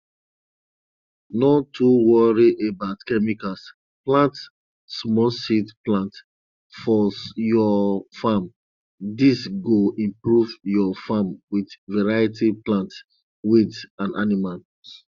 no too worry about chemicals plant smallseed plant for your farm dis go improve your farm with variety plants weeds and animals